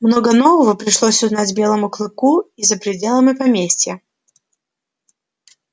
много нового пришлось узнать белому клыку и за пределами поместья